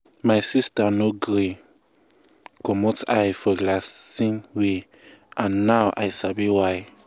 my sister no gree commot eye for relaxing way and now i sabi why.